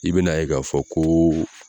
I bɛn'a ye k'a fɔ ko